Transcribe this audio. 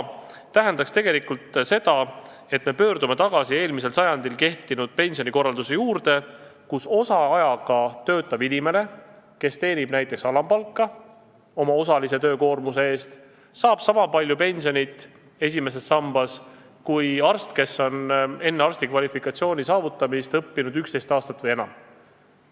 Kui saaks, tähendaks see seda, et me pöördume tagasi eelmisel sajandil kehtinud pensionikorralduse juurde, kus osaajaga töötanud inimene, kes teenis oma osalise töökoormuse eest näiteks alampalka, saaks esimeses sambas pensionit sama palju kui arst, kes on enne arsti kvalifikatsiooni saamist õppinud 11 aastat või enamgi.